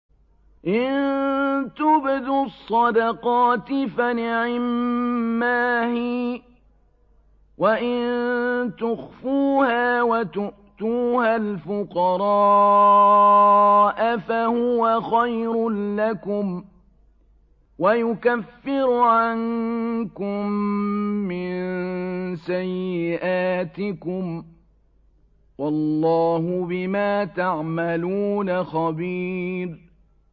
إِن تُبْدُوا الصَّدَقَاتِ فَنِعِمَّا هِيَ ۖ وَإِن تُخْفُوهَا وَتُؤْتُوهَا الْفُقَرَاءَ فَهُوَ خَيْرٌ لَّكُمْ ۚ وَيُكَفِّرُ عَنكُم مِّن سَيِّئَاتِكُمْ ۗ وَاللَّهُ بِمَا تَعْمَلُونَ خَبِيرٌ